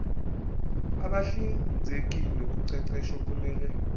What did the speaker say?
abahlinzeki ngoqeqesho kumele